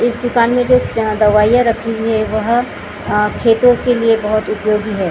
इस दुकान में जो दबाइयां रखी हुई हैं वह खेतों के लिए बहुत उपयोगी है यहाँ पे।